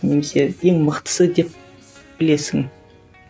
немесе ең мықтысы деп білесің